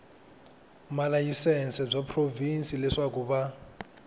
malayisense bya provhinsi leswaku va